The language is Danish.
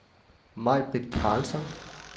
Majbrit Karlsson